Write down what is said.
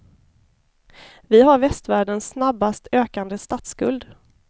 Vi har västvärldens snabbast ökande statsskuld.